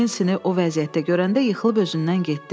Nensini o vəziyyətdə görəndə yıxılıb özündən getdi.